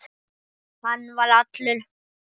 Hann var allur.